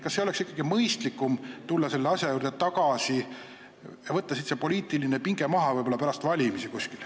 Kas ei oleks ikkagi mõistlikum võtta see poliitiline pinge maha ja tulla selle asja juurde tagasi pärast valimisi?